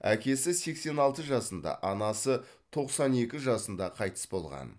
әкесі сексен алты жасында анасы тоқсан екі жасында қайтыс болған